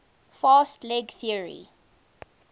fast leg theory